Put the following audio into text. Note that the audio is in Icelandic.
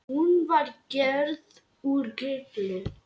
Hún var gerð úr gulli.